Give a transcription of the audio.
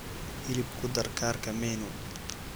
hilib ku dar kaarka menu